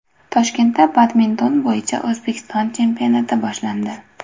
Toshkentda badminton bo‘yicha O‘zbekiston chempionati boshlandi.